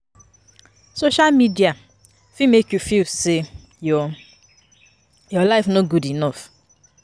Social media fit make you feel say your life no good enough.